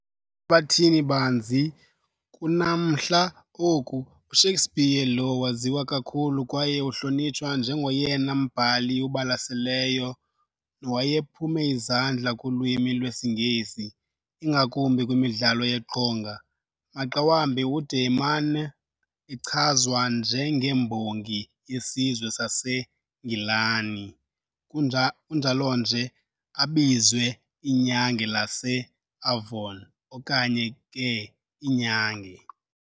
Hlabathini-banzi, kunanamhla oku, uShakespeare lo waziwa kakhulu kwaye uhlonitshwa njengoyena mbhali ubalaseleyo nowayephume izandla kulwimi lwesiNgesi ingakumbi kwimidlalo yeqonga. Maxa wambi ude emana echazwa njengembongi yesizwe saseNgilani, kunjalonje abizwe "iNyange lase-Avon" okanye ke "iNyange".